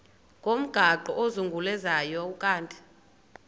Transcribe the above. ngomgaqo ozungulezayo ukanti